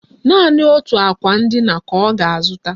Naanị otu akwa ndina ka ọ ga-azụta